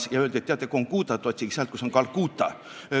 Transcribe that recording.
Talle öeldi, et teate, Kongútat otsige sealt, kus on Kalkuta.